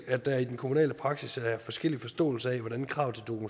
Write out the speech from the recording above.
at der i den kommunale praksis er forskellig forståelse af hvordan kravet